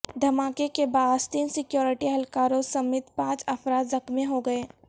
دھماکے کے باعث تین سیکورٹی اہلکاروں سمیت پانچ افراد زخمی ہوگئے